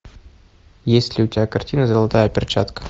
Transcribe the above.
есть ли у тебя картина золотая перчатка